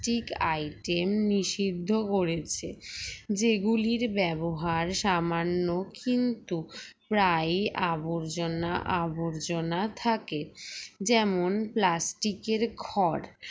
tic item নিষিদ্ধ করেছে যে গুলির ব্যবহার সামান্য কিন্তু প্রায়ই আবর্জনা আবর্জনা থাকে যেমন plastic এর খড়